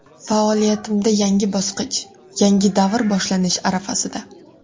Faoliyatimda yangi bosqich, yangi davr boshlanish arafasida.